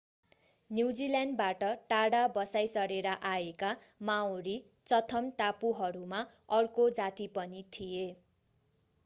न्युजील्याण्डबाट टाढा बसाईं सरेर आएका माओरी चथम टापुहरूमा अर्को जाति पनि थिए